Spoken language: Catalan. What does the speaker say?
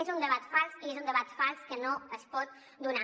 és un debat fals i és un debat fals que no es pot donar